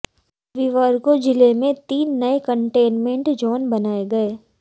रविवार को जिला में तीन नये कंटेनमेंट जोन बनाए गए